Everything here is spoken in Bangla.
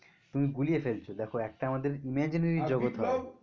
তুমি গুলিয়ে ফেলছো দেখো একটা আমাদের imaginary জগৎ হয়